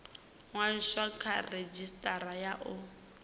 ṅwaliswa kha redzhisitara ya u